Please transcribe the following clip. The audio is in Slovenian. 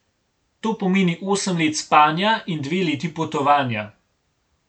To pomeni osem let spanja in dve leti potovanja.